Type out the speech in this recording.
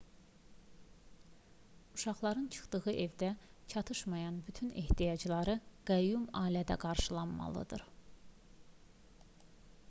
uşaqların çıxdıqları evdə çatışmayan bütün ehtiyacları qəyyum ailədə qarşılanmalıdır